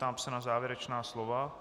Ptám se na závěrečná slova.